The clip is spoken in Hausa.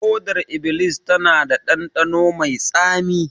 Hodar iblis tana da dandano mai tsami